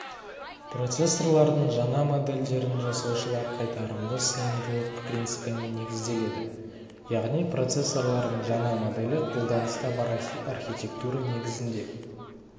процессорлардың жаңа модельдерін жасаушылар қайтарымды сыйымдылық принципіне негізделеді яғни процессорлардың жаңа моделі қолданыста бар архитектура негізінде